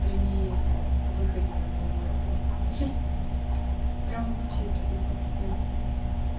при выходе на новую работу прям вообще чудеса чудесные